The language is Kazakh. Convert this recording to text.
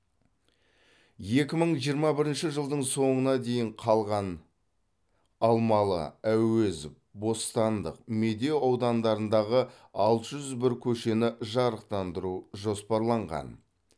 екі мың жиырма бірінші жылдың соңына дейін қалған алмалы әуезов бостандық медеу аудандарындағы алты жүз бір көшені жарықтандыру жоспарланған